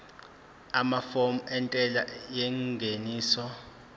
amafomu entela yengeniso